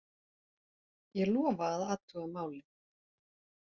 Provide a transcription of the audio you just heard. Ég lofa að athuga málið.